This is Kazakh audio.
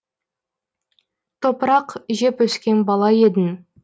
топырақ жеп өскен бала едің